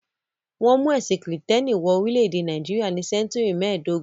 Wọ́n mú ẹ̀sìn Kìrìtẹ́ẹ́nì wọ orílẹ̀-èdè Nàìjíríà ní sẹ́ńtúrì mẹ́ẹ̀dógún.